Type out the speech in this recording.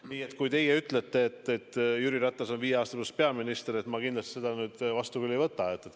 Nii et kui teie ütlete, et Jüri Ratas on viie aasta pärast peaminister, siis ma kindlasti seda nii ei võta.